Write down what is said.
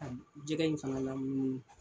jɛgɛ in fana lamunumunu.